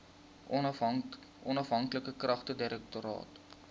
onafhanklike klagtedirektoraat